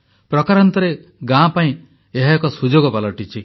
ପ୍ରକାରାନ୍ତରେ ଗାଁ ପାଇଁ ଏହା ଏକ ସୁଯୋଗ ପାଲଟିଛି